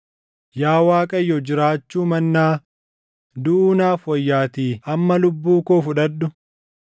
Yaa Waaqayyo jiraachuu mannaa duʼuu naaf wayyaatii amma lubbuu koo fudhadhu.”